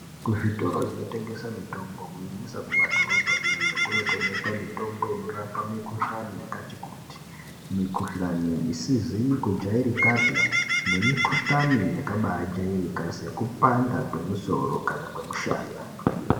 Kuzvitoro zvinotengesa mitombo kunyanyisa kumadhorobhayo iyoyo kunotengeswa mitombo inorapa mikuhlani yakati kuti. Mikuhlani isizi kujairikapi nemikuhlani yakabaajairika sekupanda kwemusoro kana kwemushana.